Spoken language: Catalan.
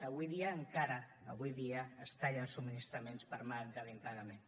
avui dia encara avui dia es tallen subministraments per manca de pagament